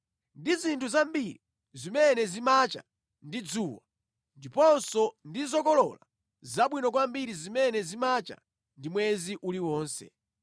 ndi zinthu zambiri zimene zimacha ndi dzuwa ndiponso ndi zokolola zabwino kwambiri zimene zimacha ndi mwezi uliwonse;